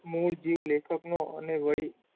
મૂળ જીવ લેખકનો અને વળી,